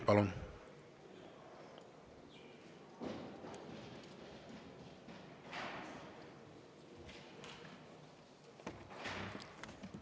Palun!